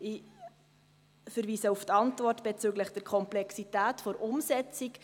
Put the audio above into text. Ich verweise auf die Antwort bezüglich der Komplexität der Umsetzung.